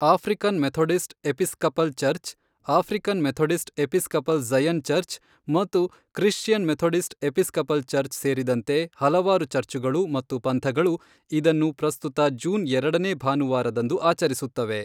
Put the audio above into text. African Methodist Episcopal Church, African Methodist Episcopal Zion Church ಮತ್ತು Christian Methodist Episcopal Church ಸೇರಿದಂತೆ ಹಲವಾರು ಚರ್ಚುಗಳು ಮತ್ತು ಪಂಥಗಳು ಇದನ್ನು ಪ್ರಸ್ತುತ ಜೂನ್ ಎರಡನೇ ಭಾನುವಾರದಂದು ಆಚರಿಸುತ್ತವೆ.